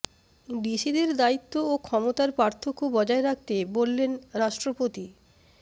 ডিসিদের দায়িত্ব ও ক্ষমতার পার্থক্য বজায় রাখতে বললেন রাষ্ট্রপতি